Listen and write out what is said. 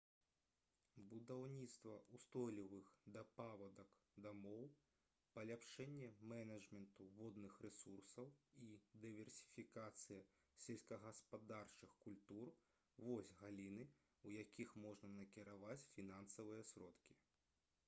будаўніцтва ўстойлівых да паводак дамоў паляпшэнне менеджменту водных рэсурсаў і дыверсіфікацыя сельскагаспадарчых культур вось галіны у якія можна накіраваць фінансавыя сродкі